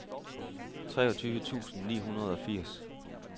treogtyve tusind ni hundrede og firs